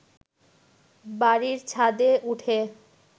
বাড়ির ছাদে উঠে